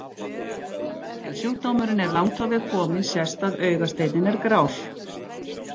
Ef sjúkdómurinn er langt á veg kominn sést að augasteinninn er grár.